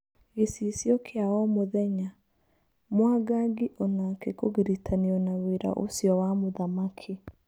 Gĩcicio kĩa omũthenya. Mwangangi onake kũgiritanio na wĩra ũcio wa mũthamaki.